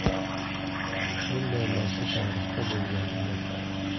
Bunday narsa tarixda bo‘lgan emas.